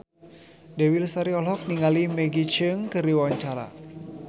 Dewi Lestari olohok ningali Maggie Cheung keur diwawancara